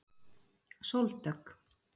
Sóldögg